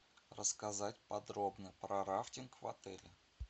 рассказать подробно про рафтинг в отеле